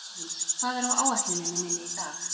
Aðils, hvað er á áætluninni minni í dag?